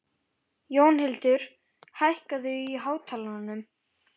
Jónhildur, hækkaðu í hátalaranum.